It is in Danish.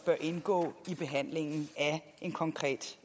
indgå i behandlingen af en konkret